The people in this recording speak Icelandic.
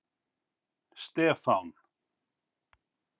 Stefán